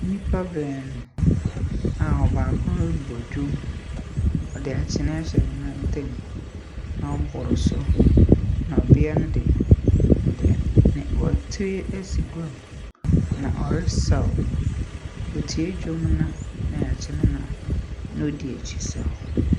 Nnipa baanu a ɔbaako robɔ drum. Ɔde nkyen akyɛ ne nam ntam, na ɔroboro so, na bea no dze, ɔ .